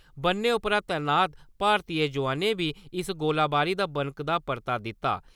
बन्ने उप्पर तैनात भारती जोआनें बी इस्स गोलीबारी दा बनकदा परता दित्ता।